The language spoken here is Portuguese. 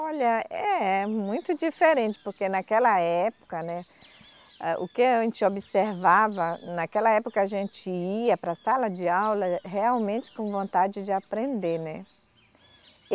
Olha, é muito diferente, porque naquela época, né, o que a gente observava, naquela época a gente ia para a sala de aula realmente com vontade de aprender, né.